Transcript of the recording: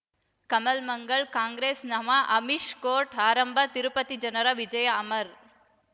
Kamal Mangal Congress ನಮಃ Amish court ಆರಂಭ ತಿರುಪತಿ ಜನರ ವಿಜಯ ಅಮರ್